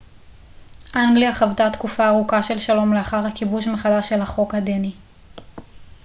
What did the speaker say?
אנגליה חוותה תקופה ארוכה של שלום לאחר הכיבוש מחדש של החוק הדני